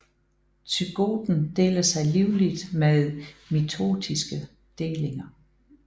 Zygoten deler sig livligt ved mitotiske delinger